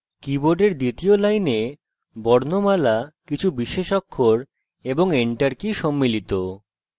কীবোর্ডের দ্বিতীয় line বর্ণমালা কিছু বিশেষ অক্ষর এবং enter key সম্মিলিত